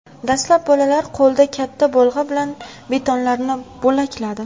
Dastlab bolalar qo‘lda katta bolg‘a bilan betonlarni bo‘lakladi.